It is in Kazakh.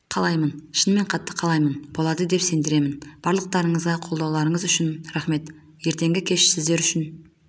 қалаймын шынымен қатты қалаймын болады деп сендіремін барлықтарыңызға қолдауларыңыз үшін рахмет ертеңгі кеш сіздер үшін